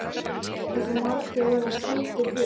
Hversu margir verða seldir burt?